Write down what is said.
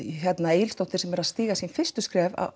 Egilsdóttir sem er að stíga sín fyrstu skref